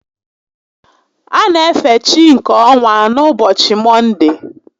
A na efe chi nke ọnwa n'ụbọchị Mọnde